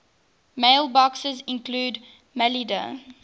mailboxes include maildir